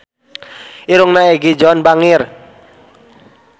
Irungna Egi John bangir